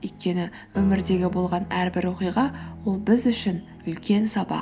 өйткені өмірдегі болған әрбір оқиға ол біз үшін үлкен сабақ